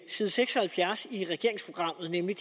side seks og halvfjerds i regeringsprogrammet nemlig